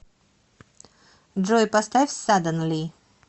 джой поставь садденли